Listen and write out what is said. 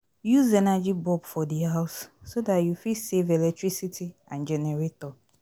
Use energy bulb for di house so dat you fit save electricity and generator